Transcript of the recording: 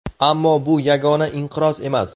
Ammo bu yagona inqiroz emas.